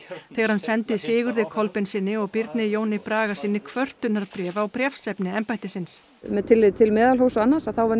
þegar hann sendi Sigurði Kolbeinssyni og Birni Jóni Bragasyni kvörtunarbréf á bréfsefni embættisins með tilliti til meðalhófs og annars þá var